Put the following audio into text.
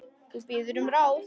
Þú biður um ráð.